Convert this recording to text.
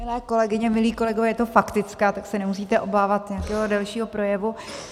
Milé kolegyně, milí kolegové, je to faktická, tak se nemusíte obávat nějakého delšího projevu.